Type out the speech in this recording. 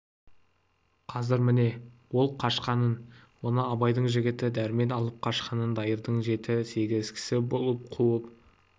қазір міне ол қашқанын оны абайдың жігіті дәрмен алып қашқанын дайырдың жеті-сегіз кісі болып қуып